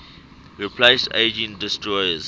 replace aging destroyers